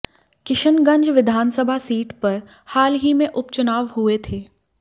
किशनगंज विधानसभा सीट पर हाल ही में उपचुनाव हुए थे